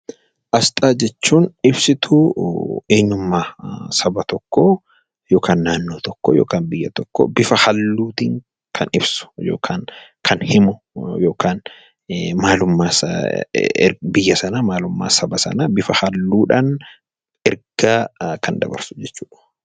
Asxaa jechuun ibsituu eenyummaa saba tokkoo yookaan naannoo tokkoo yookiin biyya tokkoo bifa halluu tiin kan ibsu yookaan kan himu yookaan biyya sana maalummaa saba sanaa bifa halluu dhaan ergaq kan dabarsu jechuu dha.